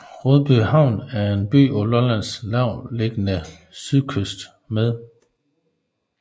Rødbyhavn er en by på Lollands lavtliggende sydkyst med